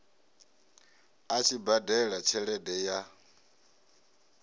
a tshi badela tshelede ya